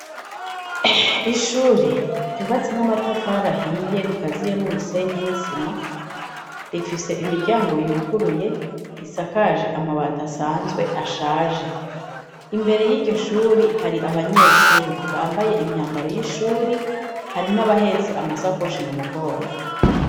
Ishuri ryubatse n'amatafari ahiye rikaziye n'umusenyi n'isima rifise imiryango yuguruye risakaje amabati asanzwe ashaje, imbere yiryo shuri hari abanyeshuri bambaye imyambaro yishuri hari n'abahetse amasakoshi mu mugongo.